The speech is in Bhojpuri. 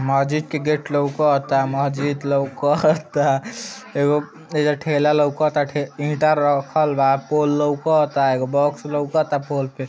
महजिद के गेट लउकता महजिद लउकता एगो एहिजा ठेला लउकता टे ईटा रखल बा पोल लउकता एगो बॉक्स लउकता ता पोल पे।